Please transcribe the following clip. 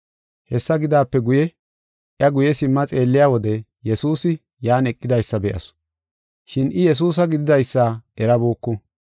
Hessa gidaape guye, iya guye simma xeelliya wode, Yesuusi yan eqidaysa be7asu. Shin I Yesuusa gididaysa erabuku.